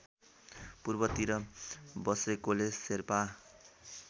पूर्वतिर बसेकोले शेर्पा